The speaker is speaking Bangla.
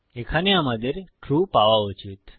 এখানে আমাদের ট্রু পাওয়া উচিত